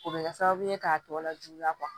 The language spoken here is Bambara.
O bɛ kɛ sababu ye k'a tɔ lajuguya